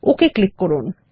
okay click করুন